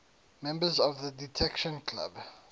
members of the detection club